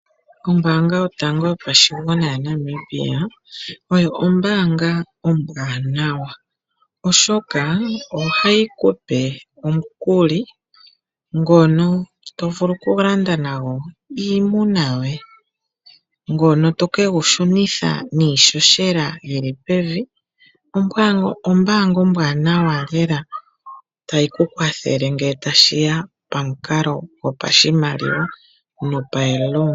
Ombaanga yotango yopashigwana yaNamibia, oyo ombaanga ombwaanawa, oshoka oha yi kupe omukuli ngono tovulu okulanda nago iimuna yoye, ngono to ke gu shilunitha niihohela yili pevi, ombaanga ombwanawa lela tayi kukwathele ngele tashiya pomukalo gwopashimaliwa, nomikuli.